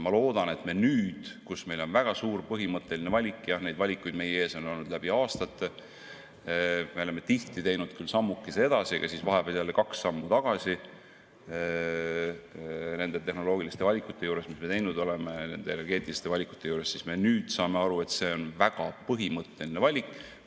Ma loodan, et nüüd, kus meil tuleb teha väga suur põhimõtteline valik – jah, neid valikuid on meie ees olnud läbi aastate, me oleme tihti teinud küll sammukese edasi, siis vahepeal jälle kaks sammu tagasi, tehnoloogilisi valikuid –, me nüüd saame aru, et see on väga põhimõtteline valik.